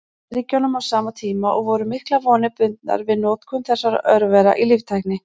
Bandaríkjunum á sama tíma, og voru miklar vonir bundnar við notkun þessara örvera í líftækni.